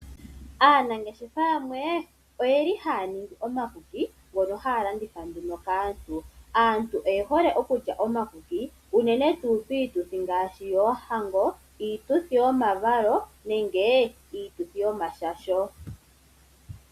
Aanangeshefa yamwe oye li haya ningi omakuki ngono haya landitha nduno kaantu. Aantu oye hole okulya omakuki unene tuu piituthi ngaashi; yoohango, iituthi yomavalo, nenge iituthi yomashasho.